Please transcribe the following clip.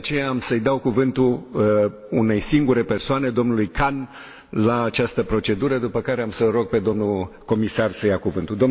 De aceea, am să îi dau cuvântul unei singure persoane, domnului Khan, la această procedură, după care am să îl rog pe domnul comisar să ia cuvântul.